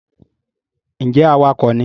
ǹjẹ́ awakọ̀ ni?